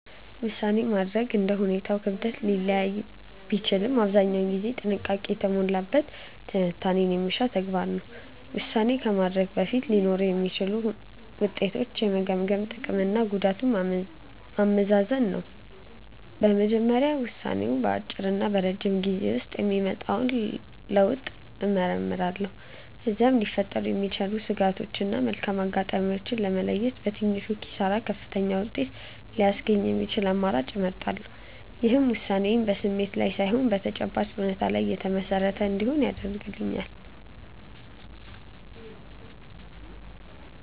ውሳኔ ማድረግ እንደ ሁኔታው ክብደት ሊለያይ ቢችልም አብዛኛውን ጊዜ ጥንቃቄ የተሞላበት ትንታኔ የሚሻ ተግባር ነው። ውሳኔ ከማድረጌ በፊት ሊኖሩ የሚችሉትን ውጤቶች የምገመግመው ጥቅምና ጉዳቱን በማመዛዘን ነው። በመጀመሪያ ውሳኔው በአጭርና በረጅም ጊዜ ውስጥ የሚያመጣውን ለውጥ እመረምራለሁ። ከዚያም ሊፈጠሩ የሚችሉ ስጋቶችን እና መልካም አጋጣሚዎችን በመለየት፣ በትንሹ ኪሳራ ከፍተኛውን ውጤት ሊያስገኝ የሚችለውን አማራጭ እመርጣለሁ። ይህም ውሳኔዬ በስሜት ላይ ሳይሆን በተጨባጭ እውነታዎች ላይ የተመሰረተ እንዲሆን ይረዳኛል።